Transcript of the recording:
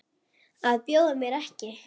Að bjóða mér ekki.